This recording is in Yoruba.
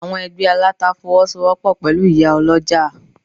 Àwọn Ẹgbẹ́ Aláta Fọwọ́sowọ́pọ̀ pẹ̀lú ìyá Ọlọ́jà.